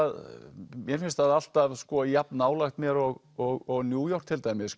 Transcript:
mér finnst það alltaf jafn nálægt mér og New York til dæmis